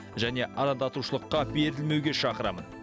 және арандатушылыққа берілмеуге шақырамын